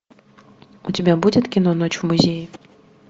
у тебя будет кино ночь в музее